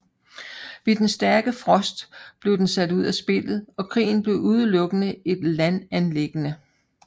Ved den stærke frost blev den sat ud af spillet og krigen blev udelukkende et landanliggende